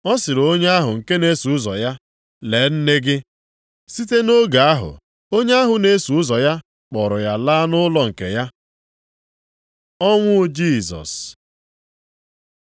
Ọ sịrị onye ahụ nke na-eso ụzọ ya, “Lee nne gị.” Site nʼoge ahụ, onye ahụ na-eso ụzọ ya kpọọrọ ya laa nʼụlọ nke ya. Ọnwụ Jisọs